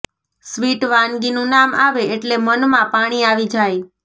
sweet વાનગી નું નામ આવે એટલે મન માં પાણી આવી જાય